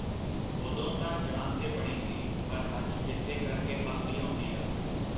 ਓਦੋਂ ਤਾਂ ਜਾਨ ਤੇ ਬਣੀ ਸੀ ਪਰ ਅੱਜ ਚੇਤੇ ਕਰ ਕੇ ਹਾਸੀ ਆਉਂਦੀ ਆ.